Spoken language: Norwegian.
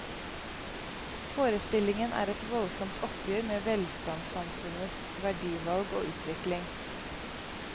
Forestillingen er et voldsomt oppgjør med velstandssamfunnets verdivalg og utvikling.